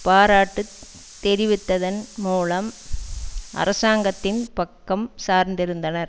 பாராட்டுத் தெரிவித்ததன் மூலம் அரசாங்கத்தின் பக்கம் சார்ந்திருந்தனர்